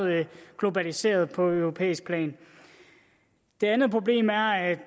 globaliseret på europæisk plan det andet problem er at